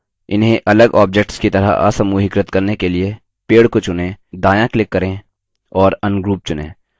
इन्हें अलग objects की तरह असमूहीकृत करने के लिए पेड़ को चुनें दायाँ click करें और ungroup चुनें